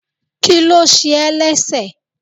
kilo se é lẹsẹ